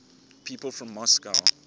people from moscow